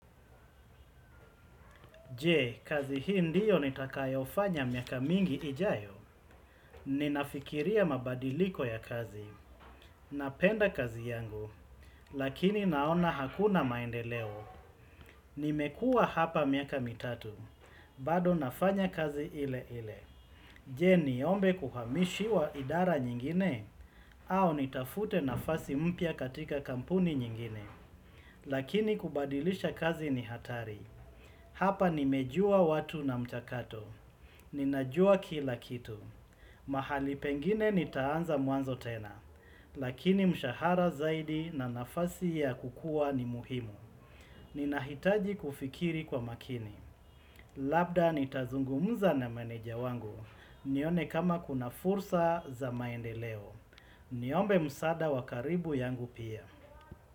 Je, kazi hii ndiyo nitakayofanya miaka mingi ijayo? Ninafikiria mabadiliko ya kazi. Napenda kazi yangu. Lakini naona hakuna maendeleo. Nimekuwa hapa miaka mitatu. Bado nafanya kazi ile ile. Je, niombe kuhamishiwa idara nyingine, au nitafute nafasi mpya katika kampuni nyingine. Lakini kubadilisha kazi ni hatari. Hapa nimejua watu na mchakato. Ninajua kila kitu, mahali pengine nitaanza mwanzo tena, lakini mshahara zaidi na nafasi ya kukua ni muhimu. Ninahitaji kufikiri kwa makini, labda nitazungumza na manager wangu, nione kama kuna fursa za maendeleo. Niombe msaada wa karibu yangu pia.